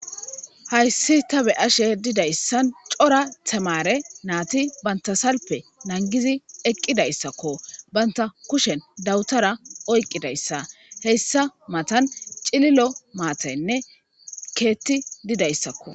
hayssi ta be'ashe didayssan cora tamare naati banta salpe nangizi eqqidayssakko banta kushen dawutara oyqqidayssa hessa matan cililo maataynne keetti didayssakko